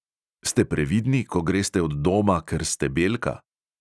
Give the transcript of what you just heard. Ste previdni, ko greste od doma, ker ste belka?